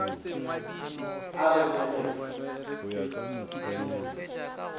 a re le ge o